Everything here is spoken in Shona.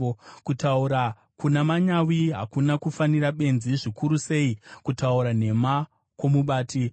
Kutaura kuna manyawi hakuna kufanira benzi, zvikuru sei kutaura nhema kwomubati!